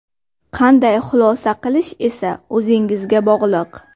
Qanday xulosa qilish esa o‘zingizga bog‘liq.